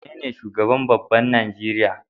Wane ne shugaban babban Nigeria?